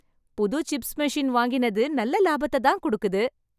புது chips machine வாங்கினது நல்ல லாபத்தைத் தான் குடுக்குது.